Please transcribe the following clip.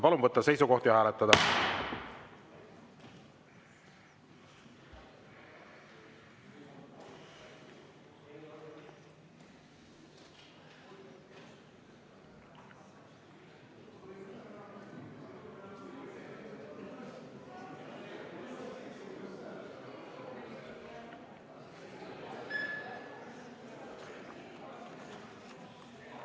Palun võtta seisukoht ja hääletada!